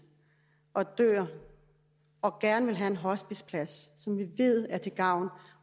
og dør og gerne vil have en hospiceplads som vi ved er til gavn